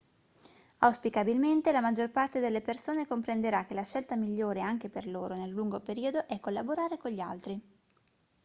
auspicabilmente la maggior parte delle persone comprenderà che la scelta migliore anche per loro nel lungo periodo è collaborare con gli altri